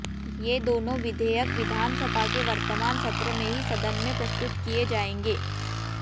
ये दोनों विधेयक विधानसभा के वर्तमान सत्र में ही सदन में प्रस्तुत किए जाएंगे